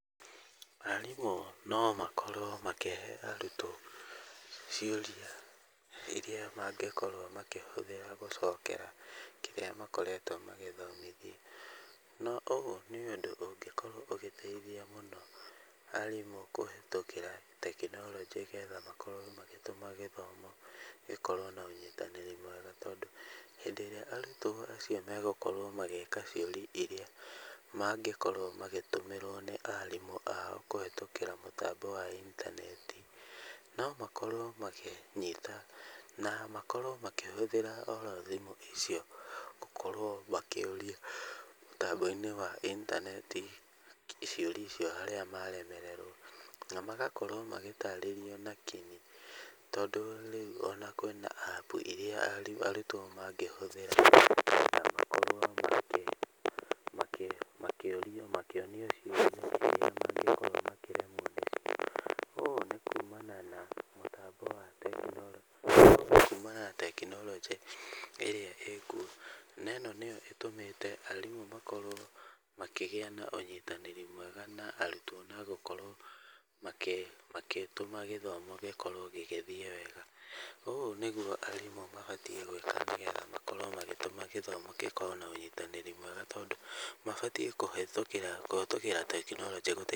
Arimũ nomakorwo makĩrehera arutwo ciũria iria mangĩkorwo makĩhũthĩra gũcokera kĩrĩa makoretwo magĩthomithia. No ũũ, nĩũndũ ũngĩkorwo ũgĩteithia mũno arimũ kũhetũkĩra tekironjĩ, getha makorwo magĩtũma gĩthomo gukorwo na ũnyitanĩri mwega tondũ hĩndĩ ĩrĩa arutwo acio megũkorwo magĩka ciũria iria mangĩkorwo magĩtũmĩrwo nĩ arimũ ao kũhetũkĩra mũtambo wa intaneti. No makorwo makĩnyita na makorwo makĩhũthĩra oro thimũ icio gũkorwo makĩũria mũtambo-inĩ wa intaneti ciũria icio harĩa maremererwo. Na magakorwo magĩtarĩrio na king'i tondũ onarĩu kwĩna App iria arutwo mangĩhũthĩra makorwo makĩonio ciũria. Ũũ nĩ kuumana na mũtambo wa tekironjĩ ĩrĩa ĩĩkuo. Neno nĩo ĩtũmĩte arimũ makorwo makĩgĩa na ũnyitanĩri mwega na arutwo na gũkorwo magĩtũma gĩthomo gĩkorwo gĩgĩthiĩ wega. Ũũ nĩguo arimũ mabatiĩ gũkorwo magĩtũma gĩthomo gĩkorwo na ũnyitanĩri mwega tondũ, mabatiĩ kũhetũkĩa kũhetũkĩra tekinoronjĩ.